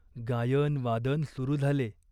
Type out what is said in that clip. गायनवादन सुरू झाले.